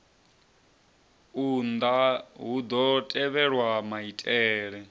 unḓa hu ḓo tevhelwa maitele